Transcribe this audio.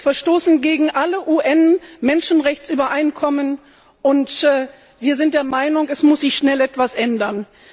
Die Prügelstrafe verstößt gegen alle UN Menschenrechtsübereinkommen, und wir sind der Meinung, es muss sich schnell etwas ändern.